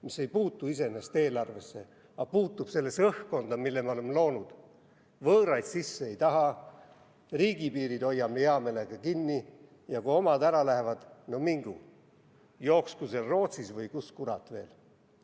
See ei puutu iseenesest eelarvesse, aga puutub õhkkonda, mille me oleme loonud: võõraid sisse ei taha, riigipiirid hoiame hea meelega kinni ja kui omad ära lähevad, siis no mingu, jooksku seal Rootsis või kus kurat veel.